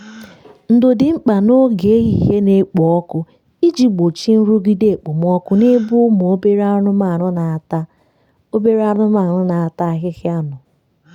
ndo dị mkpa n'oge ehihie na-ekpo ọkụ iji gbochie nrụgide okpomọkụ n’ebe ụmụ obere anụmanu na-ata obere anụmanu na-ata ahịhịa nọ